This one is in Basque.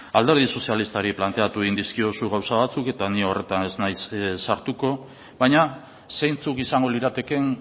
alderdi sozialistari planteatu egin dizkiozu gauza batzuk eta ni horretan ez nahi sartuko baina zeintzuk izango liratekeen